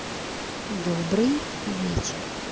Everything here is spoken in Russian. добрый вечер